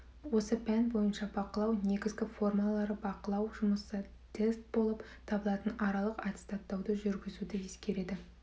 осы пән бойынша бақылау негізгі формалары бақылау жұмысы тест болып табылатын аралық аттестаттауды жүргізуді ескереді